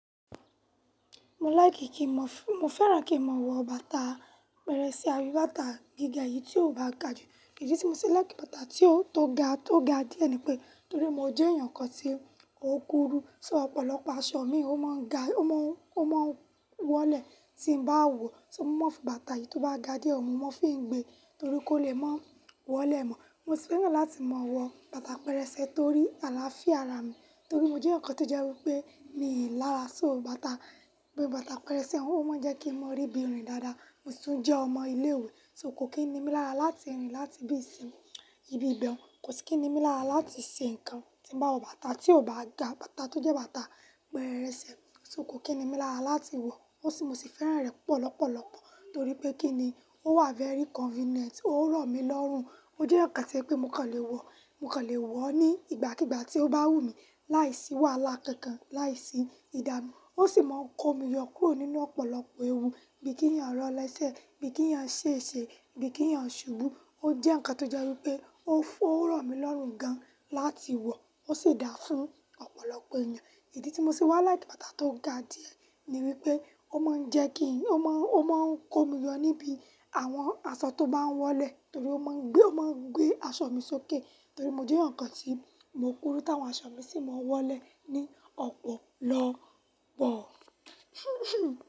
Mo like ki mo f-- mo fẹ́ràn kí n máa wọ bàtà pẹrẹsẹ, a ti bàtà gíga yìí tí ó bá ga jù. Ìdí tí mo ṣe like bàtà tí ó, tó ga, tó ga díẹ̀ ni pé torí mo jẹ́ ẹ̀yàn kan tí ó kúrú. So ọ̀pọ̀lọpọ̀ aṣọ mi ó máa ń ga, ó má ń, ó máa ń wọlẹ̀ tí n bá wọ̀. So mo máa ń fi bàtà èyí tó bá ga díẹ̀ mu, mo máa ń fi ń gbé torí kó lè máa wọ́lẹ̀ mọ́. Mo sì fẹ́ràn láti máa wọ bàtà pẹrẹsẹ torí àlàáfíà ara mi, torí mo jẹ́ eeyan kan tó jẹ́ wí pé mi ò lára, so bàtà, gbogbo bàtà pẹrẹsẹ, ó máa ń jẹ́ kí mo rí bí rin dáadáa. Mo si tún jẹ́ ọmọ ilé ìwé so kò kí n ni mí lára láti rìn láti ibiyi sí, ibi ibẹ̀hun. Kò sì kí ni mí lára láti ṣe ǹkan tí n bá wọ bàtà tí ò bá ga, bàtà tó jẹ́ bàtà pẹrẹsẹ. So kò kí ni mí lára láti wọ̀ ó sì, mo sì fẹ́ràn rẹ̀ pọ̀ lọ́pọ̀lọpọ̀ torí pé kí ni, ó wà very convenient, ó rọ̀ mí lọ́rùn. Mo jẹ́ eeyan kan tí o je pé mo kon lè wọ, mo kon lè wọ̀ ọ́ ní ìgbàkígbà tí ó bá wù mí láìsí wàhálà kankan, láìsí ìdánú. Ó sì máa ń kó mi yọ kúrò nínú ọ̀pọ̀lọpọ̀ ewu bí kí ẹ̀yàn rọ̀ lẹ́sẹ̀, bí kí ẹ̀yàn ṣèṣe, bí kí ẹ̀yàn ṣubú. Ó jẹ́ ǹkan tó jẹ́ wí pé ó fún, ó rọ̀ mí lọ́rùn gan láti wọ̀ ó sì dáa fún ọ̀pọ̀lọpọ̀ ènìyàn. Ìdí tí mo ṣe wá like bàtà tó ga díẹ̀ ni wípé ó máa ń jẹ́ kí n, ó má ń, ó má ń kó mi yọ níbi àwọn aṣọ tó bá ń wọlẹ̀ torí ó má ń gbé, ó má ń gbé aṣọ mi sókè torí mo jẹ́ ǹkan tí mo kúrú táwọn aṣọ mi sì máa ń wọlẹ̀ ní ọ̀pọ̀lọpọ̀.